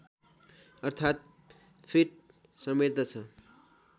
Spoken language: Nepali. अर्थात् फिट समेट्दछ